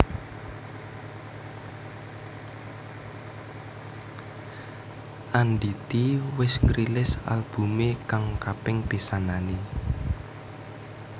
Andity wis ngrilis albumé kang kaping pisanané